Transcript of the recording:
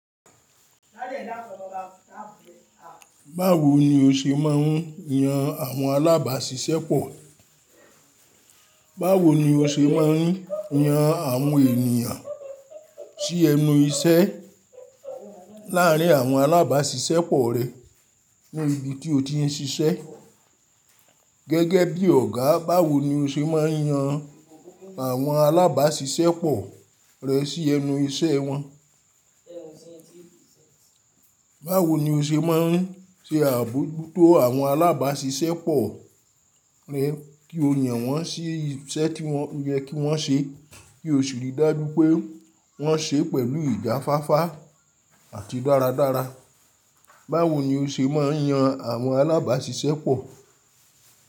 Báwo ni o ṣe máa ń yan àwọn alábàáṣiṣẹ́ pọ̀? Báwo ni o ṣe máa ń yan àwọn ènìyàn sí ẹnu iṣẹ́ láàrín àwọn alábàáṣiṣẹ́ pọ̀ rẹ ní ibi tí o ti ń ṣiṣẹ́ gẹ́gẹ́ bí Ọ̀gá? Báwo ni o ṣe máa ń yan àwọn alábàáṣiṣẹ́ pọ̀ rẹ sí ẹnu iṣẹ́ wọn? Báwo ni o ṣe máa ń ṣe àbójútó àwọn alábàáṣiṣẹ́ pọ̀ rẹ kí o yàn wọ́n sí iṣẹ́ tí ó yẹ kí wọ́n ṣe kí o sì rí dájú pé wọ́n ṣe pẹ̀lú ìjáfáfá àti dáradára? Báwo ni o ṣe máa ń yan àwọn alábàáṣiṣẹ́ pọ̀